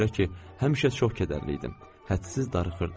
Ona görə ki, həmişə çox kədərli idim, hədsiz darıxırdım.